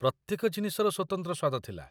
ପ୍ରତ୍ୟେକ ଜିନିଷର ସ୍ୱତନ୍ତ୍ର ସ୍ୱାଦ ଥିଲା।